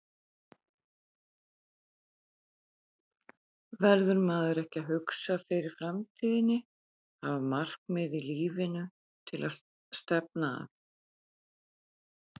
Verður maður ekki að hugsa fyrir framtíðinni, hafa markmið í lífinu til að stefna að?